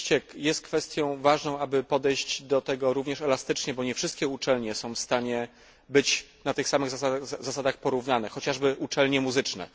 Oczywiście jest kwestią ważną, aby podejść do tego również elastycznie, bo nie wszystkie uczelnie są w stanie być na tych samych zasadach porównane, chociażby uczelnie muzyczne.